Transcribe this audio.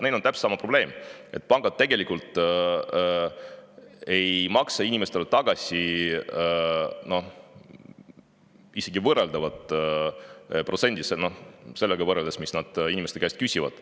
Neil on täpselt sama probleem, et pangad tegelikult ei maksa inimestele võrreldavat protsenti tagasi, isegi sellega võrreldes, mis nad inimeste käest küsivad.